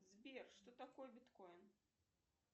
сбер что такое биткоин